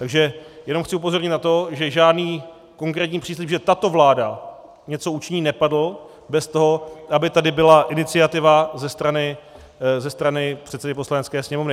Takže jenom chci upozornit na to, že žádný konkrétní příslib, že tato vláda něco učiní, nepadl bez toho, aby tady byla iniciativa ze strany předsedy Poslanecké sněmovny.